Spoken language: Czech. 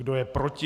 Kdo je proti?